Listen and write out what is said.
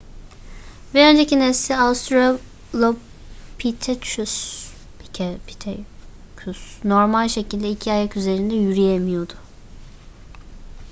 bir önceki nesli australopithecus normal şekilde iki ayak üzerinde yürüyemiyordu